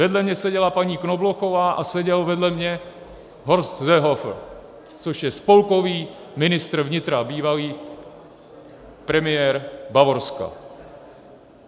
Vedle mě seděla paní Knoblochová a seděl vedle mě Horst Seehofer, což je spolkový ministr vnitra, bývalý premiér Bavorska.